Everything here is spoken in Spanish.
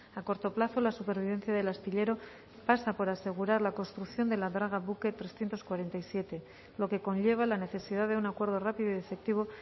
a corto plazo la supervivencia del astillero pasa por asegurar la construcción de la draga buque trescientos cuarenta y siete lo que conlleva la necesidad de un acuerdo rápido y efectivo